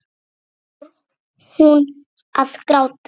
Svo fór hún að gráta.